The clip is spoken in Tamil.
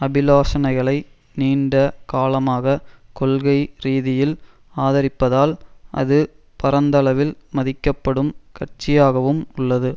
அபிலாஷனைகளை நீண்ட காலமாக கொள்கை ரீதியில் ஆதரிப்பதால் அது பரந்தளவில் மதிக்கப்படும் கட்சியாகவும் உள்ளது